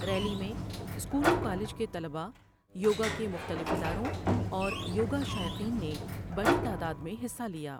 Rally میں school و college کے طلباء ، یوگا کے مختلف اداروں ، اور یوگا شائقین نے بڑی تعداد میں حصہ لیا ۔